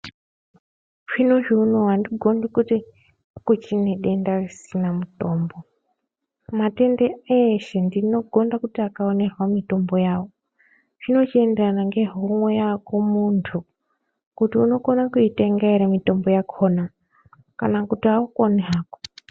Zvinezvi unou andigondi kuti kuchine denda risina mutombo. Matenda reshe ndinogonda kuti akawanirwa mutombo. Zvino chienderana ngehomwe yako muntu kuti unokona kuitenga ere mitombo yakhona kana kuti aukoni hako.